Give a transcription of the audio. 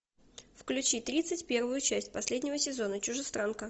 включи тридцать первую часть последнего сезона чужестранка